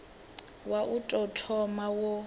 wa u tou thoma wo